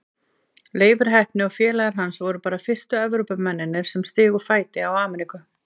Leifur heppni og félagar hans voru bara fyrstu Evrópumennirnir sem stigu fæti á Ameríku.